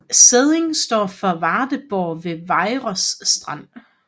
Sædding står for Vardeborg ved Vejers Strand